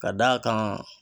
Ka d'a kan